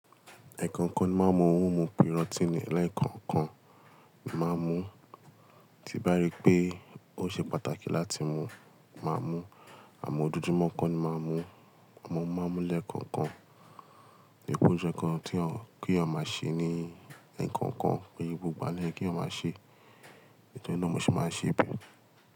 Ẹ kànkàn máa ń mú ohun mímu protein lẹ́ẹ̀kọ̀ọ̀kan, máa ń mú tí bá rí pé ó ṣe pàtàkì láti mú, máa mú. Àmọ́ ojújumọ́ kọ́ ni máa ń mú, ọmọ máa ń mú lẹ́ẹ̀kọ̀ọ̀kan. Ni ipò oún jsẹ kan tí kí a máa ṣe ní ẹ̀ẹ̀kọ̀ọ̀kan, kí sè gbógbó ló yé kí éyàn máa ṣe, èyí ló mú ṣe máa ń ṣe bí.